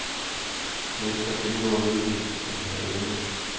Mennesker gennemgår en udvikling og de har evner.